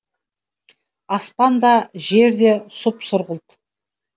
аспан да жер де сұп сұрғылт